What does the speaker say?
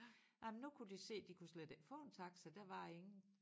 Ej men nu kunne de se de kunne slet ikke få en taxa der var ingen